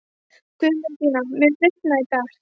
Guðmundína, mun rigna í dag?